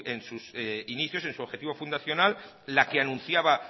en sus inicios en su objetivo fundacional la que anunciaba